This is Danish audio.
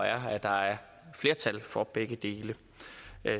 er at der er flertal for begge dele